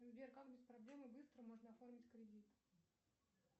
сбер как без проблем и быстро можно оформить кредит